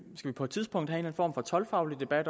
toldkontrol